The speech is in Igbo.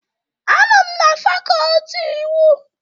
Anọ m na fakọltị iwu